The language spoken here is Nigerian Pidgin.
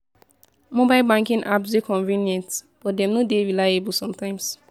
Mobile banking apps dey convenient, but dem no dey reliable sometimes.